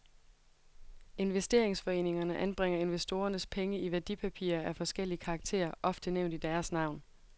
Investeringsforeningerne anbringer investorernes penge i værdipapirer af forskellig karakter, ofte nævnt i deres navn.